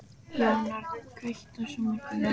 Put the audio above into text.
Jónar, kveiktu á sjónvarpinu.